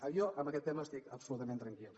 jo en aquest tema estic absolutament tranquil